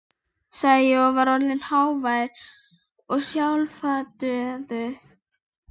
sagði ég, og var orðinn hávær og skjálfraddaður.